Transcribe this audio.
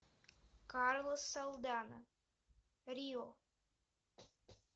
карлос салдана рио